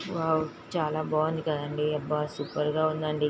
Wow చాలా బాగుంది కాదండి అబ్బా సూపర్ గ ఉందండి.